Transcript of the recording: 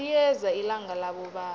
liyeza ilanga labobaba